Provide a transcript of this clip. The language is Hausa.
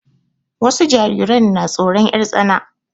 Wasu jariran na tsoron 'yar tsana.